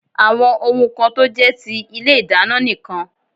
Àwọn ohun kan tó jé ti ilé ìdáná nì kan